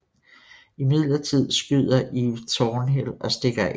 Imidlertid skyder Eve Thornhill og stikker af